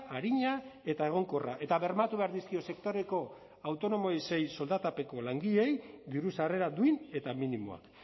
arina eta egonkorra eta bermatu behar dizkio sektoreko autonomoei soldatapeko langileei diru sarrera duin eta minimoak